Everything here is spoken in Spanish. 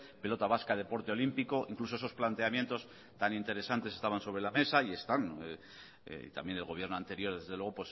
pelota vasca deporte olímpico incluso esos planteamientos tan interesantes estaban sobre la mesa y están y también el gobierno anterior desde luego